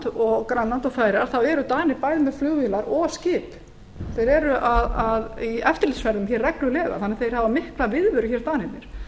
ísland grænland og færeyjar eru danir bæði með flugvélar og skip þeir eru í eftirlitsferðum hér reglulega þannig að þeir hafa mikla viðveru hér danirnir það er